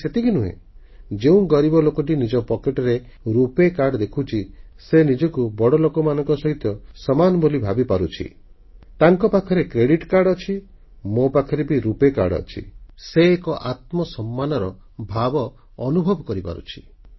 ଖାଲି ସେତିକି ନୁହେଁ ଯେଉଁ ଗରିବ ଲୋକଟି ନିଜ ପକେଟରେ ରୁପେ କାର୍ଡ ଦେଖୁଛି ସେ ନିଜକୁ ବଡ଼ ଲୋକମାନଙ୍କ ସହିତ ସମାନ ବୋଲି ଭାବିପାରୁଛି ତାଙ୍କ ପାଖରେ କ୍ରେଡିଟ୍ କାର୍ଡ ଅଛି ମୋ ପାଖରେ ବି ରୁପେ କାର୍ଡ ଅଛି ସେ ଏକ ଆତ୍ମସମ୍ମାନର ଭାବ ଅନୁଭବ କରିପାରୁଛି